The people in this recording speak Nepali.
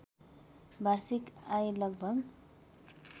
वार्षिक आय लगभग